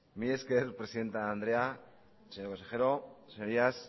mila esker presidente andrea señor consejero señorías